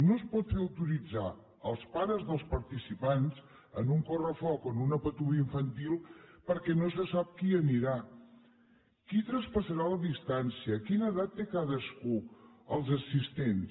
no es pot fer autoritzar als pares dels participants en un correfoc o en una patum infantil perquè no se sap qui hi anirà qui traspassarà la distància quina edat té cadascun dels assistents